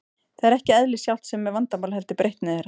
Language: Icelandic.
Það er ekki eðlið sjálft sem er vandamálið, heldur breytni þeirra.